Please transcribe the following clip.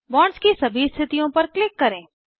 bonds की सभी स्थितियों पर क्लिक करें